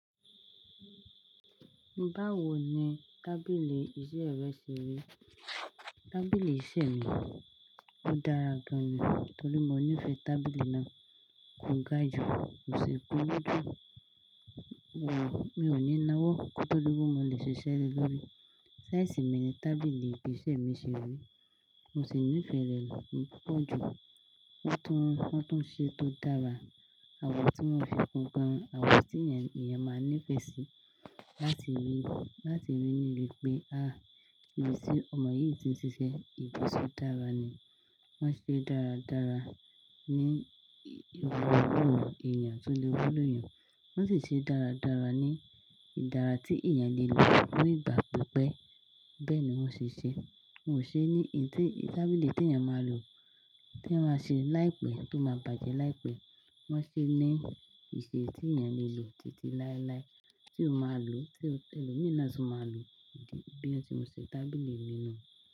Báwo ni tábìlì iṣẹ́ rẹ ṣe rí? Tábìlì iṣẹ́ mi, ó dára gan ni. Nítorí mo nífẹ̀ẹ́ tábìlì náà ko gájú, kò sì kuru ju mi ò ní nawọ́ kí o to di pe mo le ṣe ṣiṣẹ́ le lórí. Size mi ni tábìlì isẹ̀ mi ṣe rí. Mo sì nífẹ̀ẹ́ rẹ̀ púpọ̀ ju won tun won tuń ṣe tó dára, àwọ̀ tí wọ́n fi bo gan, àwọ̀ tí ènìyàn máa nífẹ̀ẹ́ sí láti rí, láti rí ní iri pé, ah ibi tí ọmọ yìí ti ń ṣiṣẹ́, ibi tí ó dára ni. Wọ́n ṣe é dáradára ní irú ìrọ̀rùn ti ènìyàn tó lè rí nù. Wọ́n sì ṣe é dáradára ní ìdára tí ènìyàn lè lò ni ìgbà pípẹ́. Bẹ́ẹ̀ ni wọ́n ṣe ṣe é. Wọn ò ṣe é ní ìdí tí tábìlì tí ènìyàn máa lò, tí wọ́n máa ṣe láìpẹ́, tó máa bàjẹ́ láìpẹ́. Wọ́n ṣe é ní ìṣe tí ènìyàn lè lò títí láéláé, tí o máa lò, tí ẹlòmíràn tún máa lò. Bí won tí mo ṣe tábìlì mi náà.